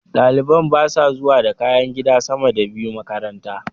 Ɗalibar basa zuwa da kayan gida sama da biyu makaranta